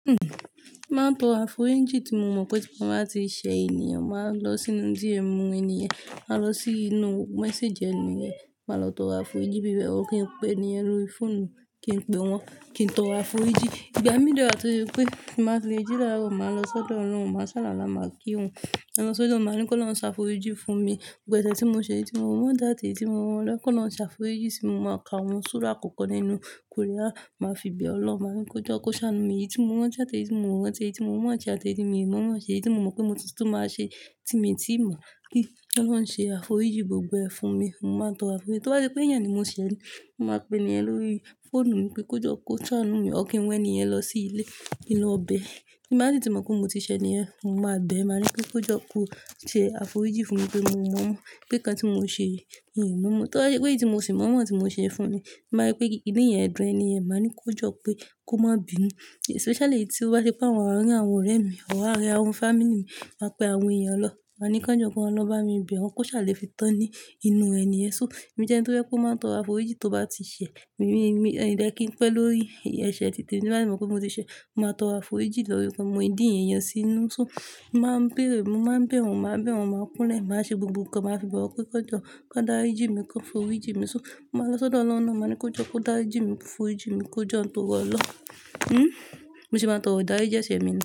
Hmm, máa ń tọrọ aforiji tí mo mọ̀ pé tí mo bá ti ṣe ènìyàn, màá lọ sínú díẹ̀ mú ènìyàn, màá lọ sínú message ènìyàn, màá lọ tọrọ aforiji bíbẹ̀. Ó kí ń pè ènìyàn lórí fóònù, kí n pe wọ́n, kí n tọrọ aforiji. Ìgbà mí de waa tó se pé tí mo bá ti le jí lára, màá lọ sọ́dọ̀ ọloun màá sálàula máa kírun Màá lọ sọ́dọ̀ ọ́loun, màá ní kó ọloun ń ṣàforiji fún mi. Ìgbà ẹsẹ̀ tí mo ṣe èyí tí mo mọ̀ dáàtì, èyí tí mo mọ̀ lọ́kàn lọ ń ṣàforiji sí i, mo máa ka òun sùúrù àkọ́kọ́ nínú quran. Màá fi bẹ̀ ọ́ lọ, màá ní kí ó jọ́ kó ṣàánú mi èyí tí mo rántí àti èyí tí mo ò rántí, èyí tí mo mọ̀ àti èyí tí èmi ò mọ̀ ṣe èyí tí mo mọ̀ pé mo tuntun máa ṣe, tí èmi ti mọ̀ kí ólouń ṣe aforiji gbogbo ẹ̀ fún mi. Mo máa ń tọrọ aforiji. Torí pé ènìyàn ni mo ṣẹ̀lẹ̀, mo máa pe ènìyàn lórí fóònù wípé kó jọ́ kó ṣàánú mi, ó kí ń wẹ ènìyàn lọ sí ilé inú ọbẹ̀. Bí mo bá rí tí mo mọ̀ pé mo ti ṣẹ ènìyàn, mo máa bẹ̀ ẹ́, màá ní pé kó jọ́ kó ṣe aforiji fún mi pé mo mọ̀ mọ́, pé kí ẹni tí mo ṣe èyí èmi mọ̀ mọ́. Torí pé èyí tí mo sì mọ̀ mọ́ àwọn tí mo ṣe fún mi, màá rí pé kí ìdí yẹn dùn ènìyàn, màá ní kó jọ́ pé kó má bi inú. Especially tí ó bá ṣe pé àwọn àárín àwọn ọ̀rẹ́ mi, ọ̀wọ̀ àárín àwọn family mi máa pe àwọn ènìyàn lọ. Màá ní kí wọ́n jọ́ kó lọ bá mi bẹ̀ wọ́n, kó ṣàlè fi tán ní inú ẹni yẹn. Mo jẹ́ ẹni tí ó máa ń tọrọ aforiji tó bá ti ṣẹ̀. Mi dẹ́ kí ń pẹ́ lórí ẹ́ṣẹ títí èmi bá rí mọ̀ pé mo ti ṣẹ, mo máa tọrọ aforiji lórí rẹ̀, kó mú ìdí yẹn yọ sínú. So, mo máa ń béèrè, mo máa ń bẹ̀ wọ́n, màá bẹ̀ wọ́n, màá kún lẹ̀, màá ṣe gbogbo ǹkan, màá fi bọ̀ wọ́n pé kí wọn jọ́, kí wọ́n darí jí mi, kí wọ́n foriji mi. So, màá lọ sọ́dọ̀ oloun na, màá ní kó jọ́ kó darí jí mi, foriji mi, kó jọ́ ń tọrọ Ọlọ́. Hmm. Mo sì máa ń tọrọ ìdáríjì ẹ̀ṣẹ̀ mi.